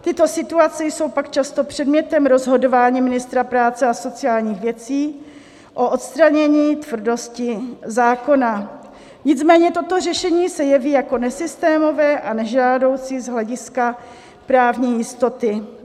Tyto situace jsou pak často předmětem rozhodování ministra práce a sociálních věcí o odstranění tvrdosti zákona, nicméně toto řešení se jeví jako nesystémové a nežádoucí z hlediska právní jistoty.